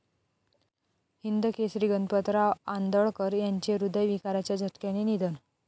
हिंदकेसरी गणपतराव आंदळकर यांचे हृदयविकाराच्या झटक्याने निधन